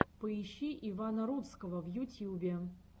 поищи ивана рудского в ютьюбе